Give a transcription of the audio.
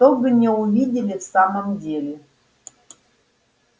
чтобы не увидели в самом деле